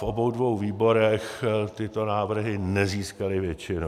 V obou dvou výborech tyto návrhy nezískaly většinu.